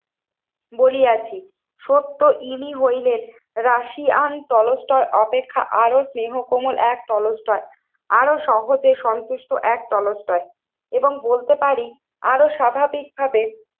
বলিয়ছি। সত্য ইনি হইলে রাশিয়ান তলস্তর অপেক্ষা আরো স্নেহকমল এক তলস্তর। আরো সহজে সন্তুষ্ট এক তলস্তর এবং বলতে পারি আরো স্বাভাবিকভাবে